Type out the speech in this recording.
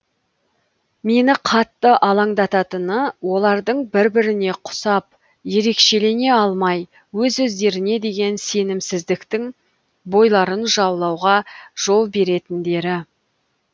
мені қатты алаңдататыны олардың бір біріне құсап ерекшелене алмай өз өздеріне деген сенімсіздіктің бойларын жаулауға жол беретіндері